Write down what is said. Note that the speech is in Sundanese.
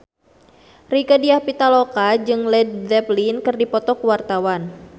Rieke Diah Pitaloka jeung Led Zeppelin keur dipoto ku wartawan